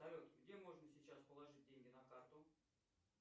салют где можно сейчас положить деньги на карту